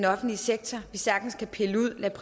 offentlige sektor